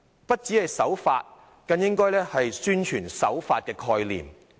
不僅是守法，更應該宣傳守法的概念。